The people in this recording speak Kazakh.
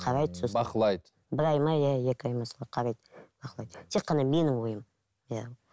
қарайды сосын бақылайды бір ай ма иә екі ай ма солай қарайды бақылайды тек қана менің ойым иә